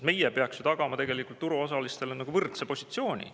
Meie peaksime tagama turuosalistele võrdse positsiooni.